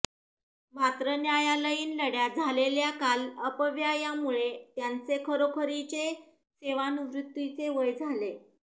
मात्र न्यायालयीन लढ्यात झालेल्या काल अपव्ययामुळे त्यांचे खरोखरीच्या सेवानिवृत्तीचे वय झाले